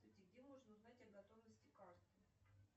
где можно узнать о готовности карты